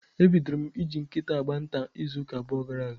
E bidoro m ị ji nkịta agba nta n'izuuka abụọ gara aga.